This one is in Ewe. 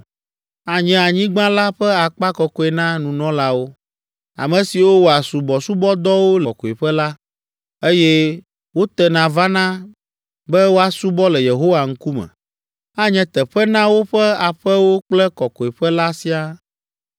Anye anyigba la ƒe akpa kɔkɔe na nunɔlawo, ame siwo wɔa subɔsubɔdɔwo le Kɔkɔeƒe la, eye wotena vana be woasubɔ le Yehowa ŋkume. Anye teƒe na woƒe aƒewo kple Kɔkɔeƒe la siaa.